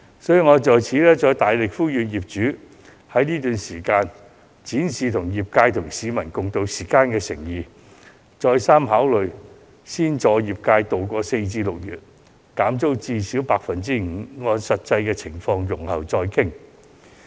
所以，我再次大力呼籲業主，在這段時間展示與業界及市民共渡時艱的誠意，好好考慮先助業界渡過4月至6月，減租至少 5%， 並按實際情況容後再議。